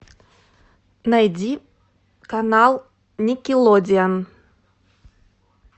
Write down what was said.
найди канал никелодеон